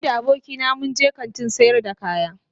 Ni da abokina mun kantin sayar kaya.